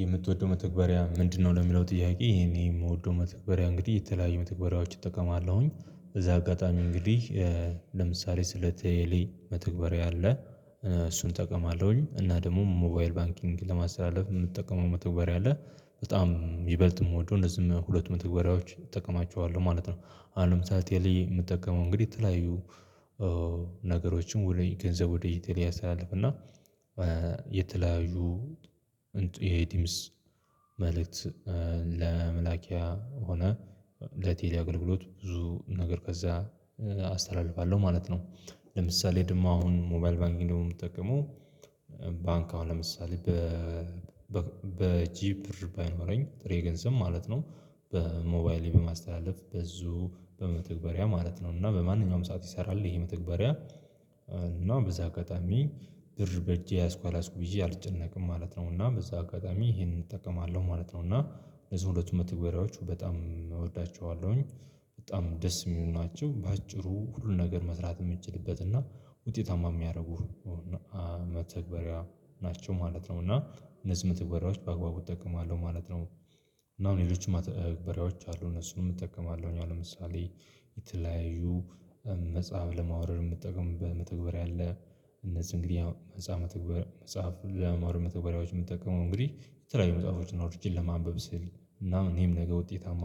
የምትወደው መተግበሪያ ምንድነው ለሚለው ጥያቄ ይሄን የምወደው መተግበሪያ እንግዲህ የተለያዩ መተግበሪያዎች እጠቀማለሁኝ በዛ አጋጣሚ እንግዲህ ለምሳሌ ስለ ቴሌ መተግበሪያ አለ እሱን ጠቀማለሁኝ እና ደግሞ ሞባይል ባንኪንግ ለማስተላለፍ የምንጠቀመው መተውበሪያ አለ በጣም ይበልጥ የምወደው እንደዚሁም ሁለቱም መተግበሪያዎች እጠቀማቸዋለሁ ማለት ነው አሁን ለምሳሌ ቴሌ የምጠቀመው እንግዲህ የተለያዩ ነገሮችን ወደ ገንዘብ ወደ ቴሌ ያስተላልፍና የተለያዩ እንትን የድምጽ መልእክት ለመላኪያ ሆነ ለቴሌ አገልግሎት ብዙ ነገር ከዛ አስተላልፋለሁ ማለት ነው ለምሳሌ ደግሞ አሁን ሞባይል ባንኪንግ ደሞ የምጠቀመው ባንክ አሁን ለምሳሌ በእጄ ብር ባይኖረኝ ጥሬ ገንዘብ ማለት ነው በሞባይሌ በማስተላለፍ በዚሁ በመተግበሪያ ማለት ነው እና በማንኛውም ሰዓት ይሰራል ይሄ መተግበሪያ እና በዛ አጋጣሚ ብር በእጄ ያዝኩ አላዝኩ ብዬ አልጨነቅም ማለት ነው እና በዛ አጋጣሚ ይሄንን እጠቀማለሁ ማለት ነው እና እዚህ ሁለቱም መተግበሪያዎች በጣም እወዳቸዋለሁኝ በጣም ደስ የሚሉ ናቸው በአጭሩ ሁሉን ነገር መስራት የምንችልበት እና ውጤታማ የሚያደርጉ መተግበሪያ ናቸው ማለት ነው እና እነዚህ መተግበሪያዎች በአግባቡ እጠቀማለሁ ማለት ነው እና አሁን ሌሎች መተግበሪያዎች አሉ እነሱንም እጠቀማለሁ አሁን ለምሳሌ የተለያዩ መጽሐፍ ለማውረድ የምትጠቀምበት መተግበር መተግበሪያ አለ እነዚህ እንግዲህ ያው መጽሐፍ መጽሐፍ ለመማር መተግበሪያዎች የምትጠቀመው እንግዲህ የተለያዩ መጽሐፎች አውርጀ ለማንበብ ስል እና እኔም ነገ ውጤታማ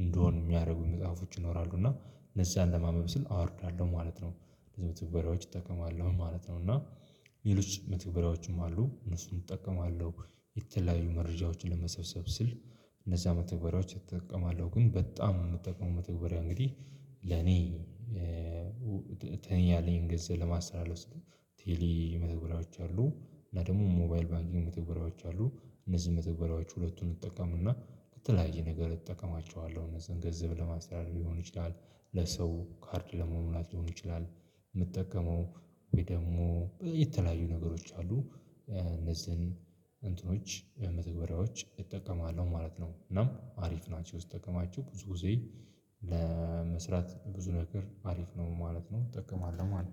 እንድሆን የሚያደርጉኝ መጽሐፎች ይኖራሉ። እና እነዛ አለማንበብ ስል አወርዳለሁ ማለት ነው። ስለዚህ መተግበሪያዎች እጠቀማለሁ ማለት ነው። እና ሌሎች መተግበሪያዎችም አሉ። እነሱን እጠቀማለሁ። የተለያዩ መረጃዎችን ለመሰብሰብ ስል እነዛ መተግበሪያዎች እጠቀማለሁ። ግን በጣም የምጠቀመው መተግበሪያ እንግዲህ በተለይ ያለኝን ገጽ ለማስመለስ የተለያዩ መተግበሪያዎች አሉ። እና ደግሞ ሞባይል ባንኪንግ መተግበሪያዎች አሉ። እነዚህ መተግበሪያዎች ሁለቱን እንድትጠቀሙና በተለያየ ነገር እጠቀማቸዋለሁ። እነዚህን ገንዘብ ለማስተዳደር ሊሆን ይችላል። ለሰው ካርድ ለመሙላት ሊሆን ይችላል የምጠቀመው ወይ ደግሞ የተለያዩ ነገሮች አሉ። እነዚህን እንትኖች መተግበሪያዎች እጠቀማለሁ ማለት ነው። እናም አሪፍ ናቸው። ስትጠቀማቸው ብዙ ጊዜ ለመስራት ብዙ ነገር አሪፍ ነው ማለት ነው። እጠቀማለሁ ማለት ነው።